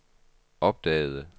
opdagede